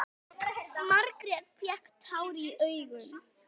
Margrét fékk tár í augun.